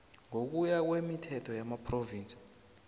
ngokuya kwemithetho yamaphrovinsi